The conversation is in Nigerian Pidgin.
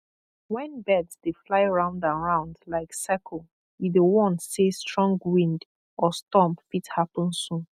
when birds dey fly round and round like circle e dey warn say strong wind or storm fit happen soon